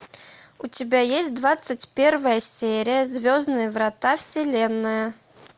у тебя есть двадцать первая серия звездные врата вселенная